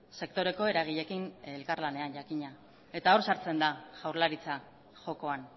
sektoreko eragileekin elkarlanean jakina eta hor sartzen da jaurlaritza jokoan